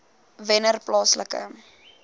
wennerplaaslike